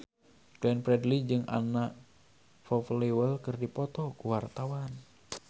Glenn Fredly jeung Anna Popplewell keur dipoto ku wartawan